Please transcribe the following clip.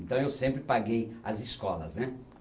Então eu sempre paguei as escolas. né